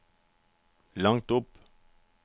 langt opp